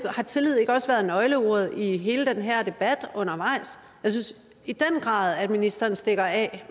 har tillid ikke også været nøgleordet i hele den her debat undervejs jeg synes i den grad at ministeren stikker af